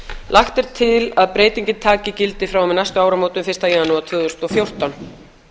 lagt er til að breytingin taki gildi frá og með næstu áramótum fyrsta janúar tvö þúsund og fjórtán